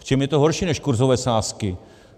V čem je to horší než kurzové sázky.